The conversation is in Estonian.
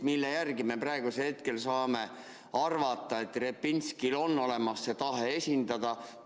Mille järgi me praegusel hetkel saame arvata, et Repinskil on olemas tahe esindada?